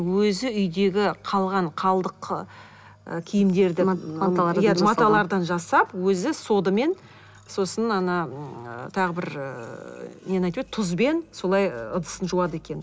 өзі үйдегі қалған қалдық ы киімдерді иә маталардан жасап өзі содамен сосын ана м тағы бір ыыы нені айтып еді тұзбен солай ыдысын жуады екен